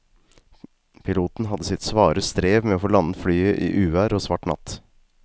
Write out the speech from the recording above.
Piloten hadde sitt svare strev med å få landet flyet i uvær og svart natt.